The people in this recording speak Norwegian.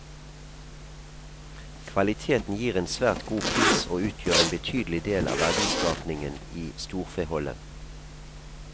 Kvaliteten gir en svært god pris og utgjør en betydelig del av verdiskapningen i storfeholdet.